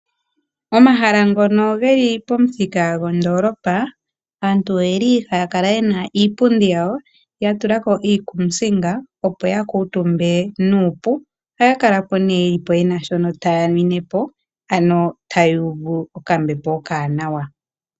Omahala ngono ge li pomuthika gondoolopa, aantu ohaya kala ye na iipundi yawo ya tula ko iikuusinga, opo ya kuutumbe nuupu. Ohaya kala po nduno ye na shoka taya nwine po, ano taya uvu okambepo okawanawa.